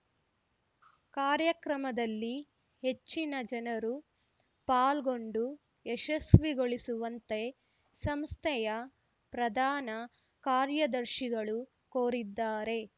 ಕಾರ್ಯಕ್ರಮದಲ್ಲಿ ಹೆಚ್ಚಿನ ಜನರು ಪಾಲ್ಗೊಂಡು ಯಶಸ್ವಿಗೊಳಿಸುವಂತೆ ಸಂಸ್ಥೆಯ ಪ್ರಧಾನ ಕಾರ್ಯದರ್ಶಿಗಳು ಕೋರಿದ್ದಾರೆ